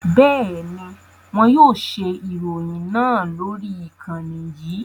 Bẹ́ẹ̀ni, wọn yóò ṣe ìròyìn náà lórí ìkànnì yìí